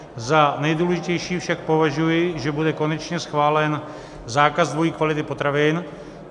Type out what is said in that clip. Za nejdůležitější však považuji, že bude konečně schválen zákaz dvojí kvality potravin.